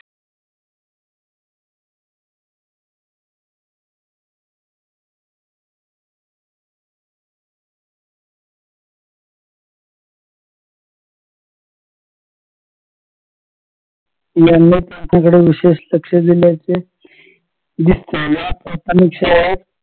यांनी त्यांच्याकडे विशेष लक्ष दिल्याचे दिसते या प्राथमिक शाळेत